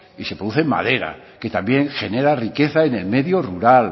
y se produce madera que también genera riqueza en el medio rural